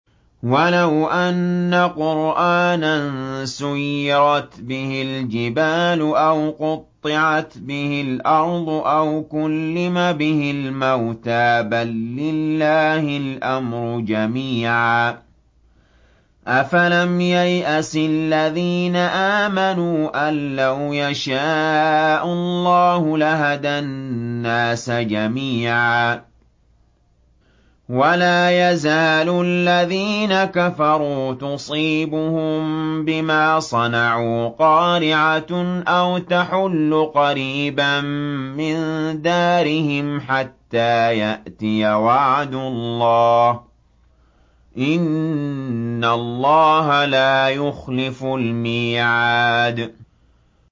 وَلَوْ أَنَّ قُرْآنًا سُيِّرَتْ بِهِ الْجِبَالُ أَوْ قُطِّعَتْ بِهِ الْأَرْضُ أَوْ كُلِّمَ بِهِ الْمَوْتَىٰ ۗ بَل لِّلَّهِ الْأَمْرُ جَمِيعًا ۗ أَفَلَمْ يَيْأَسِ الَّذِينَ آمَنُوا أَن لَّوْ يَشَاءُ اللَّهُ لَهَدَى النَّاسَ جَمِيعًا ۗ وَلَا يَزَالُ الَّذِينَ كَفَرُوا تُصِيبُهُم بِمَا صَنَعُوا قَارِعَةٌ أَوْ تَحُلُّ قَرِيبًا مِّن دَارِهِمْ حَتَّىٰ يَأْتِيَ وَعْدُ اللَّهِ ۚ إِنَّ اللَّهَ لَا يُخْلِفُ الْمِيعَادَ